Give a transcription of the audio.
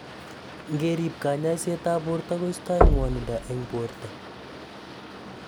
Ngerib kanyaiset ab borto koistai ng'wanindo eng borto